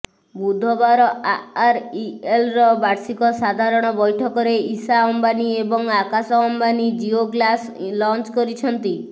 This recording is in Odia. ବୁଧବାର ଆର୍ଆଇଏଲ୍ର ବାର୍ଷିକ ସାଧାରଣ ବୈଠକରେ ଈଶା ଅମ୍ବାନୀ ଏବଂ ଆକାଶ ଅମ୍ବାନୀ ଜିଓଗ୍ଲାସ ଲଞ୍ଚ କରିଛନ୍ତି